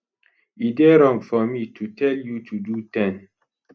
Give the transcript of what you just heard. e dey wrong for me to tell you to do 10